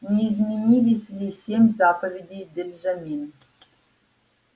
не изменились ли семь заповедей бенджамин